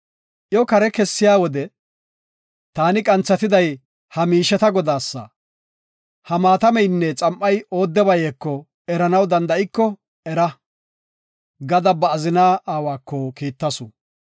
Iyo kare kessiya wode, “Taani qanthatiday ha miisheta godaasa. Ha maatameynne xam7ay oodebayeko eranaw danda7iko era” gada ba azina aawaka kiittasu.